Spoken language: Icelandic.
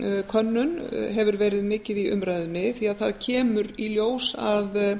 könnun hefur verið mikið í umræðunni því það kemur í ljós að